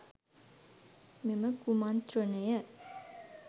මෙම කුමන්ත්‍රණය